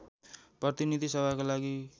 प्रतिनीधि सभाका लागि